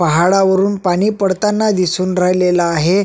पहाडावरून पाणी पडताना दिसून राहिलेलं आहे.